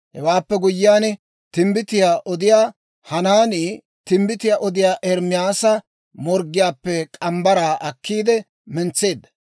Hewaappe guyyiyaan, timbbitiyaa odiyaa Hanaanii timbbitiyaa odiyaa Ermaasa morggiyaappe morgge mitsaa akkiide mentseedda.